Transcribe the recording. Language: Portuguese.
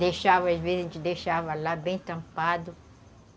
Deixava, às vezes, a gente deixava lá bem tampado.